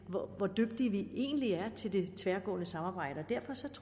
egentlig er til det tværgående samarbejde